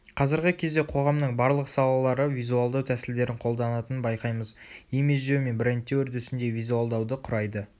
қазіргі кезде қоғамның барлық салалары визуалдау тәсілдерін қолданатынын байқаймыз имидждеу мен брендтеу үрдісінде визуалдау ды құрайды